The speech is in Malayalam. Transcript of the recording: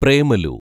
പ്രേമലു